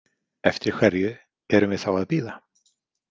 Eftir hverju erum við þá að bíða?